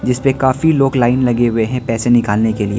जिसपे काफी लोग लाइन लगे हुए है पैसे निकालने के लिए।